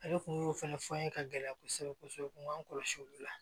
Ale kun y'o fɛnɛ fɔ an ye ka gɛlɛya kosɛbɛ kosɛbɛ kun b'an kɔlɔsi olu la